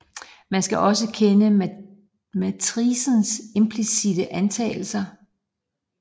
Man skal også kende matricens implicitte antagelser